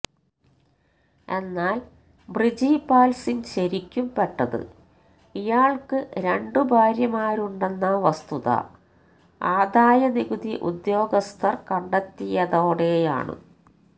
എന്നാല് ബ്രിജിപാല് സിങ്ങ് ശരിക്കും പെട്ടത് ഇയാള്ക്ക് രണ്ടു ഭാര്യമാരുണ്ടെന്ന വസ്തുത ആദായനികുതി ഉദ്യോഗസ്ഥര് കണ്ടെത്തിയതോടെയാണ്